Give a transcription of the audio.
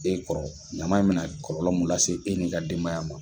E kɔrɔ ɲama in mɛ na kɔlɔlɔ mun lase e n'i ka denbaya ma.